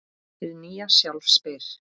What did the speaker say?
Hið nýja sjálf spyr